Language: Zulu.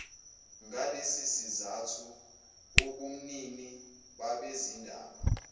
ngalesisizathu ubumnini babezindaba